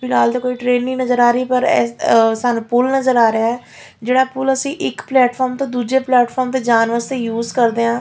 ਫਿਲਹਾਲ ਤਾਂ ਕੋਈ ਟਰੇਨ ਨਹੀਂ ਨਜ਼ਰ ਆ ਰਹੀ ਪਰ ਸਾਨੂੰ ਪੁੱਲ ਨਜ਼ਰ ਆ ਰਿਹਾ ਆ ਜਿਹੜਾ ਪੁੱਲ ਅਸੀਂ ਇੱਕ ਪਲੈਟ ਫੋਰਮ ਤੋਂ ਦੂਜੇ ਪਲੈਟ ਫੋਰਮ ਜਾਣ ਵਾਸਤੇ ਯੂਜ਼ ਕਰਦੇ ਆ --